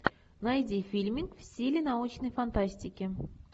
найди фильмик в стиле научной фантастики